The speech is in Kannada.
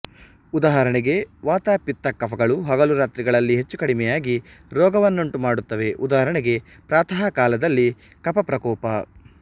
ಉದಾಹರಣೆಗೆ ವಾತ ಪಿತ್ತ ಕಫಗಳು ಹಗಲುರಾತ್ರಿಗಳಲ್ಲಿ ಹೆಚ್ಚುಕಡಿಮೆಯಾಗಿ ರೋಗವನ್ನುಂಟುಮಾಡುತ್ತವೆ ಉದಾಹರಣೆಗೆ ಪ್ರಾತಃ ಕಾಲದಲ್ಲಿ ಕಫಪ್ರಕೋಪ